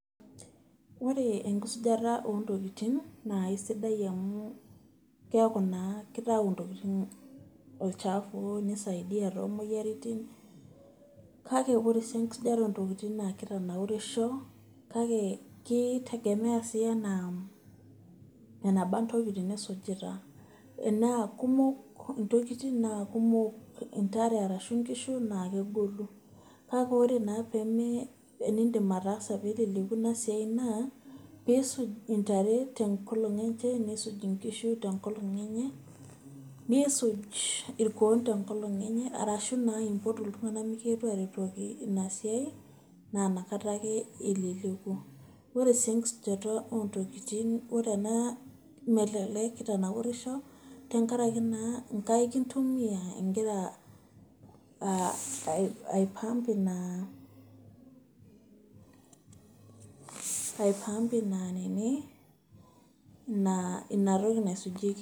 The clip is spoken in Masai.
Ore enkisujata ontokiting, naa aisidai amu keeku naa kitau ntokiting olchafu, nisaidia to moyiaritin, kake ore si enkisujata ontokiting na kitanaurisho, kake ki tegemea si enaa eneba ntokiting nisujita. Enaa kumok intokiting, na kumok intare arashu nkishu, naa kegolu. Kake ore naa peme pimidim ataasa peleleku inasiai naa, pisuj intare tenkolong enche, nisuj inkishu tenkolong enye, nisuj irkuon tenkolong enye, arashu naa impotu iltung'anak mikietu aretoki inasiai, naa nakata ake eleleku. Ore si enkisujata ontokiting ore ena melelek kitanaurisho, tenkaraki naa inkaik intumia igira ai pump ina ai pump ina nini, inatoki naisujieki.